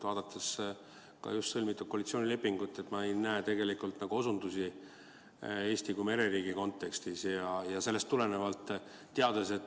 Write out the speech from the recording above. Vaadates just sõlmitud koalitsioonilepingut, ma ei näe tegelikult osutusi Eestile kui mereriigile.